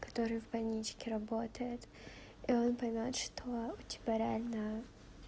который в больничке работает и он поймёт что у тебя реально